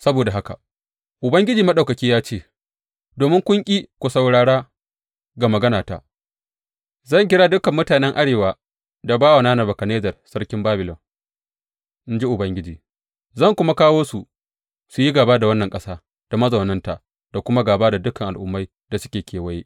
Saboda haka Ubangiji Maɗaukaki ya ce, Domin kun ƙi ku saurara ga maganata, zan kira dukan mutanen arewa da bawana Nebukadnezzar sarkin Babilon, in ji Ubangiji, zan kuma kawo su su yi gāba da wannan ƙasa da mazaunanta da kuma gāba da dukan al’ummai da suke kewaye.